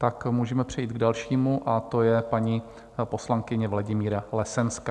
Tak můžeme přejít k dalšímu a to je paní poslankyně Vladimíra Lesenská.